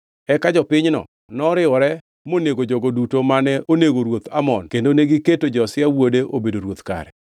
Eka jopinyno noriwore monego jogo duto mane onego ruoth Amon kendo negiketo Josia wuode obedo ruoth kare.